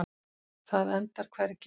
Það endar hvergi.